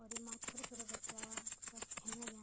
और येमा छोट छोटा बच्चा सब खेन लग्याँ।